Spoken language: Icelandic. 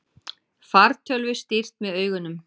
Fartölvu stýrt með augunum